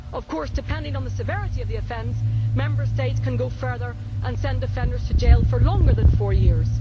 Of course, depending on the severity of the offence, Member States can go further and send offenders to jail for longer than four years.